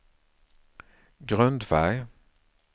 grundfärg